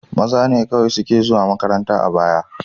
Maza ne kawai suke zuwa makaranta a baya.